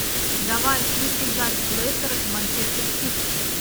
давай включи запись лестера и манчестер сити